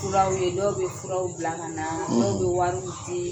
Furaw ye, dɔw bɛ furaw bila ka na; dɔw bɛ wariw di;